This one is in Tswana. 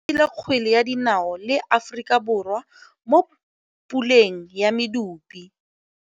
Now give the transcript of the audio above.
Setlhopha sa Nigeria se tshamekile kgwele ya dinaô le Aforika Borwa mo puleng ya medupe.